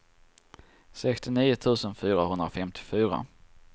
sextionio tusen fyrahundrafemtiofyra